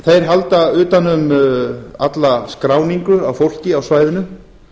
þeir halda utan um alla skráningu á fólki á svæðinu